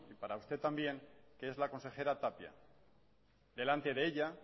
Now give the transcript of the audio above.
para usted también que es la consejera tapia delante de ella